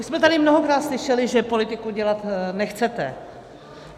Už jsme tady mnohokrát slyšeli, že politiku dělat nechcete.